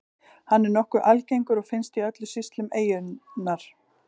Hann er nokkuð algengur og finnst í öllum sýslum eyjunnar.